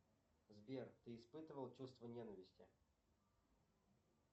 сбер ты испытывал чувство ненависти